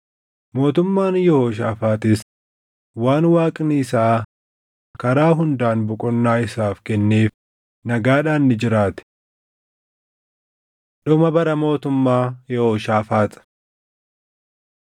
Mootummaan Yehooshaafaaxis waan Waaqni isaa karaa hundaan boqonnaa isaaf kenneef nagaadhaan ni jiraate. Dhuma Bara Mootummaa Yehooshaafaax 20:31–21:1 kwf – 1Mt 22:41‑50